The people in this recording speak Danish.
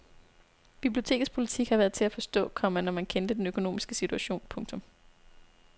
Bibliotekets politik har været til at forstå, komma når man kendte den økonomiske situation. punktum